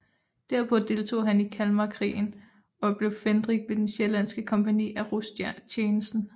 Derpå deltog han i Kalmarkrigen og blev fændrik ved det sjællandske kompagni af rostjenesten